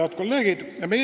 Head kolleegid!